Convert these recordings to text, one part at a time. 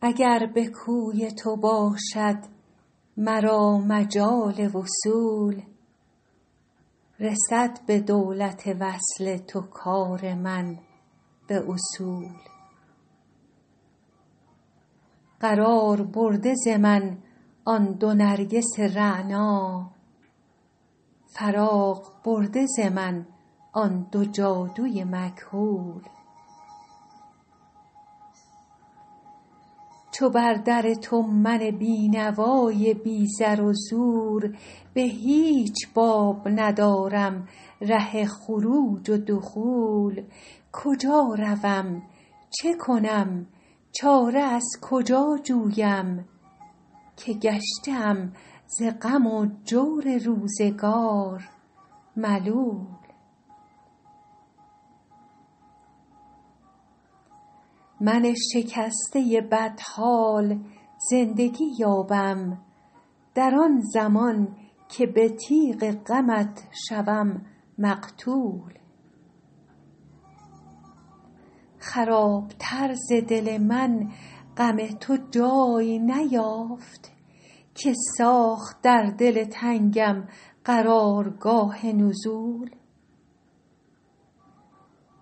اگر به کوی تو باشد مرا مجال وصول رسد به دولت وصل تو کار من به اصول قرار برده ز من آن دو نرگس رعنا فراغ برده ز من آن دو جادو ی مکحول چو بر در تو من بینوا ی بی زر و زور به هیچ باب ندارم ره خروج و دخول کجا روم چه کنم چاره از کجا جویم که گشته ام ز غم و جور روزگار ملول من شکسته بدحال زندگی یابم در آن زمان که به تیغ غمت شوم مقتول خراب تر ز دل من غم تو جای نیافت که ساخت در دل تنگم قرار گاه نزول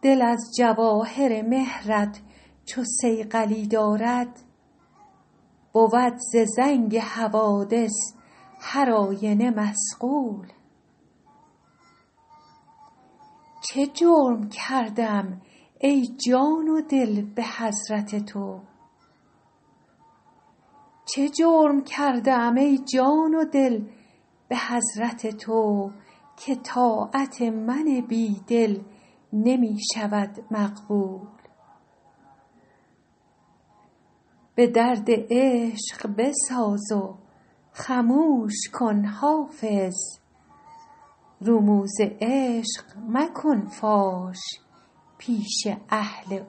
دل از جواهر مهر ت چو صیقلی دارد بود ز زنگ حوادث هر آینه مصقول چه جرم کرده ام ای جان و دل به حضرت تو که طاعت من بیدل نمی شود مقبول به درد عشق بساز و خموش کن حافظ رموز عشق مکن فاش پیش اهل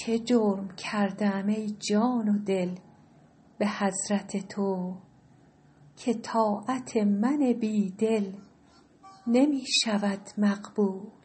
عقول